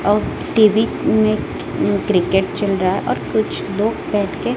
और टी_वी में उम्म क्रिकेट चल रहा है और कुछ लोग बैठ के--